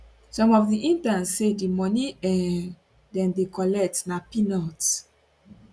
some of di interns say di money um dem dey collect na peanuts